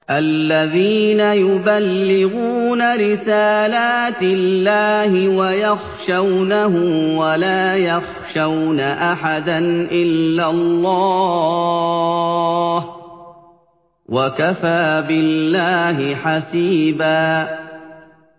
الَّذِينَ يُبَلِّغُونَ رِسَالَاتِ اللَّهِ وَيَخْشَوْنَهُ وَلَا يَخْشَوْنَ أَحَدًا إِلَّا اللَّهَ ۗ وَكَفَىٰ بِاللَّهِ حَسِيبًا